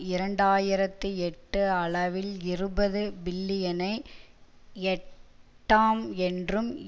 இரண்டாயிரத்தி எட்டு அளவில் இருபது பில்லியனை எட்டாம் என்றும்